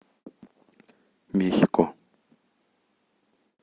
мехико